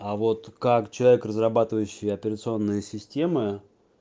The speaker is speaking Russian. а вот как человек разрабатывающий операционные системы